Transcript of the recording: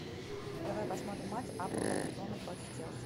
давай посмотрим матч апл эвертона против челси